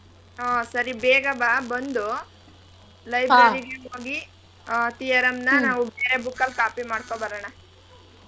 ಹಾ ಸರಿ ಬೇಗ ಬಾ ಬಂದು library ಗೆ ಹೋಗಿ ಆ theorm ನ ನಾವ್ ಬೇರೆ book ಅಲ್ copy ಮಾಡ್ಕೊ ಬರಣ.